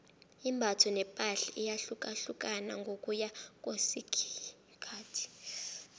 imbatho nepahla iyahlukahlukana ngokuya ngokwesikhathi